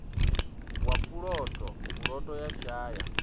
wa puloto puloto ya shaya